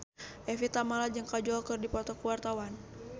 Evie Tamala jeung Kajol keur dipoto ku wartawan